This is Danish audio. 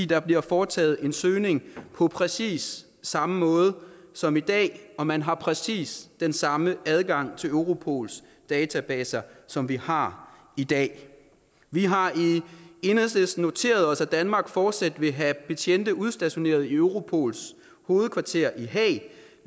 der bliver foretaget en søgning på præcis samme måde som i dag og man har præcis den samme adgang til europols databaser som vi har i dag vi har i enhedslisten noteret os at danmark fortsat vil have betjente udstationeret i europols hovedkvarter i haag